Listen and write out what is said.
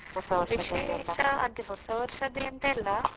ಅದೇ ಹೊಸ ವರ್ಷದ್ದು ಎಂತ ಇಲ್ಲ.